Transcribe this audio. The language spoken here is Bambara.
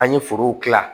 An ye forow dilan